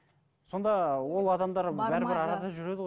сонда ол адамдар бәрібір арада жүреді ғой